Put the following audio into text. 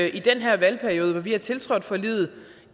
i den her valgperiode hvor vi har tiltrådt forliget